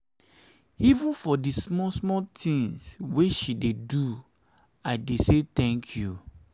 even for di small-small tins wey she dey do i dey say tank you.